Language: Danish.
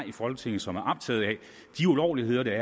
i folketinget som er optaget af at de ulovligheder der